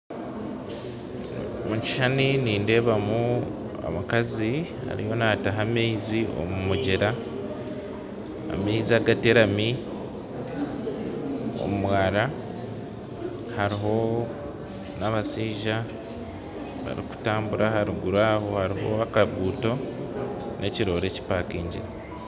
Omu kishushani ndeebamu omukazi ariyo naataha amaizi omu mugyera, amaizi agateramire omu mwara kandi hariho n'abashija barikutambura aharuguru aho hariho n'akaguuto n'ekiroore kyemeriireho